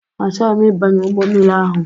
Achọghị m ịbanye ụgbọ mmiri ahụ.